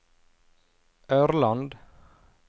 Ørland